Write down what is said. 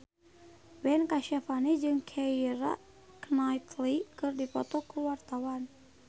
Ben Kasyafani jeung Keira Knightley keur dipoto ku wartawan